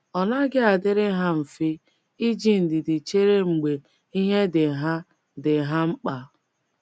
Ọ naghị adịrị ha mfe iji ndidi chere mgbe ihe dị ha dị ha mkpa.